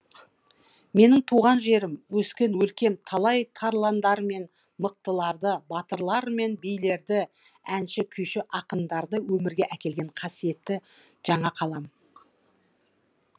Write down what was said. менің туған жерім өскен өлкем талай тарландар мен мықтыларды батырлар мен билерді әнші күйші ақындарды өмірге әкелген қасиетті жаңақалам